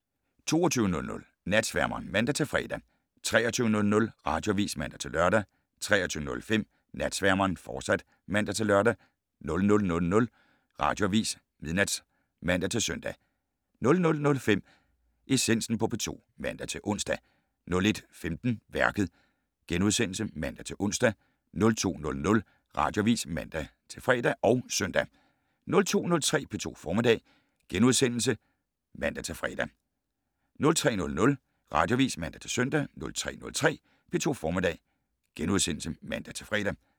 22:00: Natsværmeren (man-fre) 23:00: Radioavis (man-lør) 23:05: Natsværmeren, fortsat (man-lør) 00:00: Radioavis (man-søn) 00:05: Essensen på P2 *(man-ons) 01:15: Værket *(man-ons) 02:00: Radioavis (man-fre og søn) 02:03: P2 Formiddag *(man-fre) 03:00: Radioavis (man-søn) 03:03: P2 Formiddag *(man-fre)